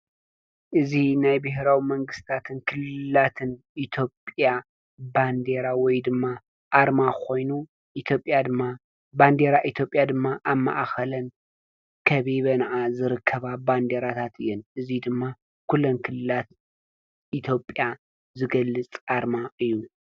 እዚ ናይ ብሄራዊ መንግስታትን ክልላትን ኢትዮጵያ ባንዲራ ወይ ድማ ኣርማ ኮይኑ ኢትዮጵያ ድማ ባንዲራ ኢትዮጵያ ድማ ኣብ ማእኸለን ከቢበንኣ ዝርከባ ባንዲራታት እየን፡፡ እዚ ድማ ኩለን ክልላት ኢትዮጵያ ዝገልፅ ኣርማ እዩ፡፡